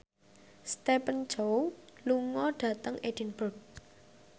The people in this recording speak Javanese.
Stephen Chow lunga dhateng Edinburgh